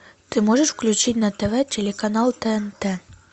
ты можешь включить на тв телеканал тнт